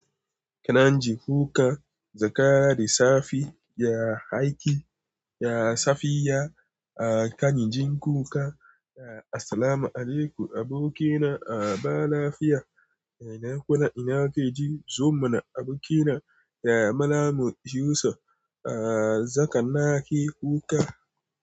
Kan ji ku ka Zakara da sa fi ya haiki ya safiya a kan jin kuka. Assalamu alekum abokina a ba lafiya ina kai ji zuma na abokina ya Malam Yusuf a zakannaki kuka.